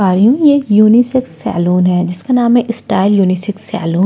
ये एक unisex salon है जिसका नाम है स्टाइल यूनिसेक्स सलून ।